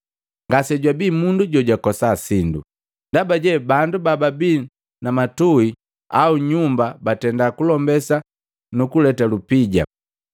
Ngasejabii mundu jojakosa sindo, ndaba je bandu bababii na matuhi au nyumba batendaa kulombesa nukuleta lupija,